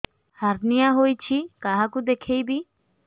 hernia ହୋଇଛି କାହାକୁ ଦେଖେଇବି